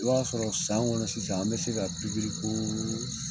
I b'a sɔrɔ san kɔnɔ sisan an bɛ se ka